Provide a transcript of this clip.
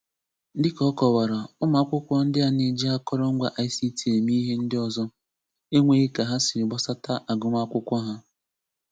Dịka ọ kọwara, ụmụ akwụkwọ ndị a na-eji akọrọ ngwa ICT eme ihe ndị ọzọ, enweghi ka ha siri gbasata agụmakwụkwọ ha.